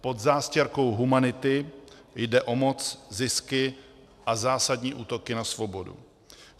Pod zástěrkou humanity jde o moc, zisky a zásadní útoky na svobodu.